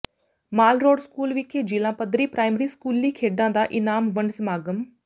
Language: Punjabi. ਮਾਲ ਰੋਡ ਸਕੂਲ ਵਿਖੇ ਜਿਲਾ ਪੱਧਰੀ ਪ੍ਰਾਇਮਰੀ ਸਕੂਲੀ ਖੇਡਾਂ ਦਾ ਇਨਾਮ ਵੰਡ ਸਮਾਗਮ